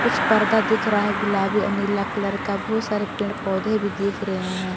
कुछ पर्दा दिख रहा है गुलाबी और नीला कलर का बहुत सारे पेड़ पौधे भी दिख रहे हैं।